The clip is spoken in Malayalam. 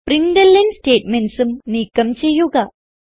പ്രിന്റ്ലൻ statementsഉം നീക്കം ചെയ്യുക